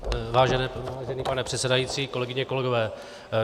Vážený pane předsedající, kolegyně, kolegové.